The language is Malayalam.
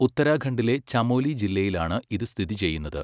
ഉത്തരാഖണ്ഡിലെ ചമോലി ജില്ലയിലാണ് ഇത് സ്ഥിതി ചെയ്യുന്നത്.